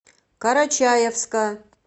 карачаевска